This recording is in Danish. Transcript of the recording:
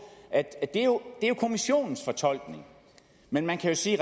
at det jo er kommissionens fortolkning men man kan sige